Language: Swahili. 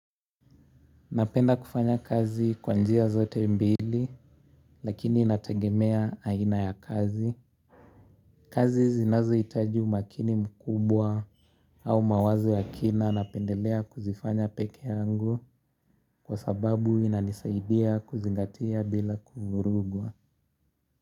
Napenda kufanya kazi kwa njia zote mbili, lakini inategemea aina ya kazi. Kazi zinazo hitaji umakini mkubwa au mawazo ya kina napendelea kuzifanya peke yangu kwa sababu inanisaidia kuzingatia bila kuvurugwa.